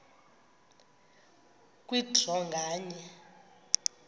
kwe draw nganye